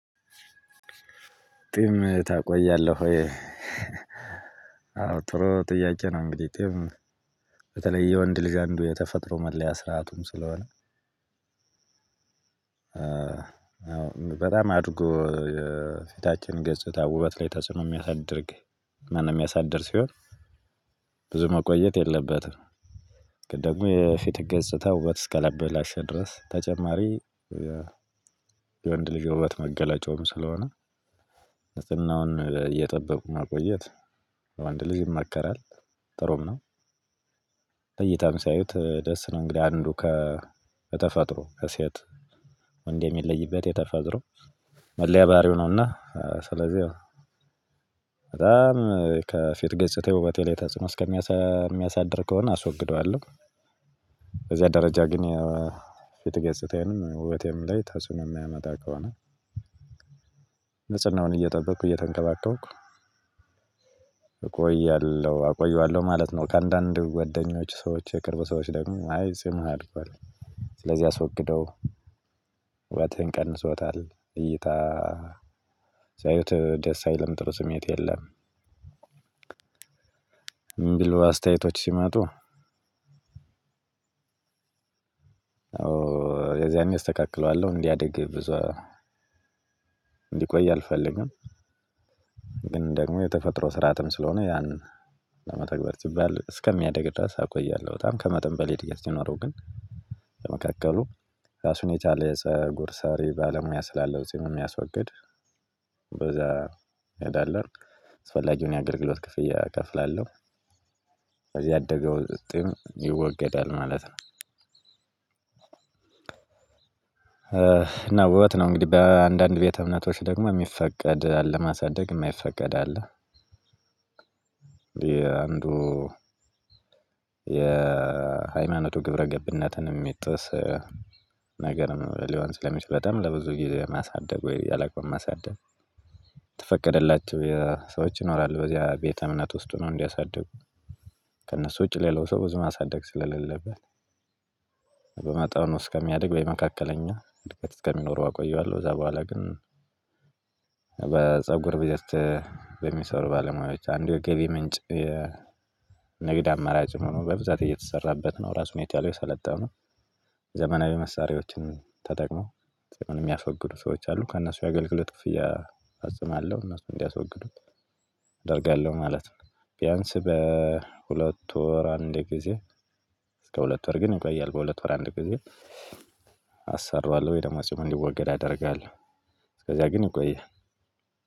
ጢም ታቆያለህ ወይ? አዎ ጥሩ ጥያቄ ነው። እንግዲህ ጢም በተለይ የወንድ ልጅ አንዱ የተፈጥሮ መለያ ስርዓቱም ስለሆነ። በጣም አድጎ የፊታችን ገጽታ ውበት ላይ ተጽዕኖ ሚያሳድርግ ማነ ሚያሳድር ሲሆን። ብዙ መቆየት የለበትም። ግን ደግሞ የፊት ገጽታ ውበት እስካላበላሸ ድረስ ተጨማሪ የ የወንድ ልጅ ውበት መገለጫውም ስለሆነ ንጽህናውን እየጠበቁ ማቆየት ወንድ ልጅ ይመከራል። ጥሩም ነው። በእይታም ሲያዩት ደስ ነው እንግዲህ አንዱ ከ ከተፈጥሮ ከሴት ወንድ የሚለይበት የተፈጥሮ መለያ ባህሪው ነውና ስለዚህ ያው በጣም ከፊት ገጽታዬ ውበቴ ላይ ተጽኖ እስከሚያሳ ሚያሳድር ከሆነ አስወግደዋለሁ። በዚያ ደረጃ ግን የፊት ገጽታዬንም ውበቴም ላይ ተጽዕኖ ሚያመጣ ከሆነ። ንጽህናውን እየጠበቅኩ እየተንከባከብኩ እቆያለሁ አቆየዋለሁ ማለት ነው። ከአንዳንድ ጓደኞች ሰዎች የቅርብ ሰዎች ደግሞ አይ ጺምህ አድጓል። ስለዚህ አስወግደው ውበትህን ቀንሶታል እይታ። ሲያዩት ደስ አይልም ጥሩ ስሜት የለም። እምቢሉ አስተያየቶች ሲመጡ ኦ የዚያኔ እስተካክለዋለሁ እንዲያድግ ብዙ አ እንዲቆይ አልፈልግም። ግን ደግሞ የተፈጥሮ ስርአትም ስለሆነ ያን ለመተግበር ሲባል እስከሚያድግ ድረስ አቆያለሁ። በጣም ከመጠን በላይ እድገት ሲኖረው ግን። ለመካከሉ ራሱን የቻለ የፀጉር ሰሪ ባለሙያ ስላለው ጺሙን ሚያስወግድ በዛ እንሄዳለን አስፈላጊውን የአገልግሎት ክፍያ እከፍላለሁ። ከዚያ ያደገው ጢም ይወገዳል ማለት ነው። እና ውበት ነው እንግዲህ በአንዳንድ ቤተ እምነቶች ደግሞ ሚፈቀድ አለ ማሳደግ እማይፈቀድ አለ። የአንዱ የሃይማኖቱ ግብረ ገብነትን እሚጥስ ነገርም ሊሆን ስለሚችል በጣም ለብዙ ጊዜ ማሳደግ ወይ ያላቆም ማሳደግ። ተፈቀደላቸው የሰዎች ይኖራሉ በዚያ ቤተ እምነት ውስጥ ሁነው እንዲያሳድጉ። ከእነሱ ውጭ ሌላው ሰው ብዙ ማሳደግ ስለሌለበት። በመጠኑ እስከሚያድግ ወይ መካከለኛ እድገት እስከሚኖረው አቆየዋለሁ። ከዛ በኋላ ግን በፀጉር ቤት በሚሰሩ ባለሙያዎች አንዱ የገቢ ምንጭ የንግድ አማራጭ ሆኖ በብዛት እየተሰራበት ነው። ራሱን የቻለ የሰለጠኑ ዘመናዊ መሳሪያዎችን ተጠቅመው ሚያስወግዱ ሰዎች አሉ ከእነሱ የአገልግሎት ክፍያ እፈጽማለሁ እነሱ እንዲያስወግዱት አደርጋለሁ ማለት ነው። ቢያንስ በሁለት ወር አንድ ጊዜ እስከ ሁለት ወር ግን ይቆያል። በሁለት ወር አንድ ጊዜ አሰራዋለሁ ወይ ደግሞ ጺሙ እንዲወገድ አደርጋለሁ። እስከዚያ ግን ይቆያል።